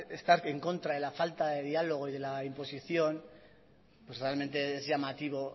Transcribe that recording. estar en contra de la falta de diálogo y de la imposición realmente es llamativo